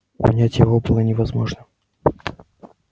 унять его было невозможно